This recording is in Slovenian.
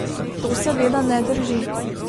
To seveda ne drži.